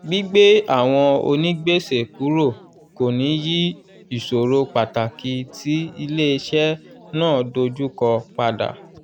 gbígbé àwọn onígbèsè kúrò kò ní yí ìṣòro pàtàkì tí iléeṣẹ́ náà dojú kọ padà.